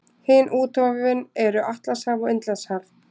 Hin úthöfin eru Atlantshaf og Indlandshaf.